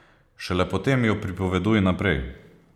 Šele potem jo pripoveduj naprej.